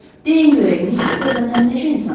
Deyin görək Miss Stavenhem nəcə insandır?